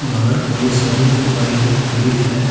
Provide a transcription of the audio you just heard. बाहर कई सारी बाइके खड़ी हैं।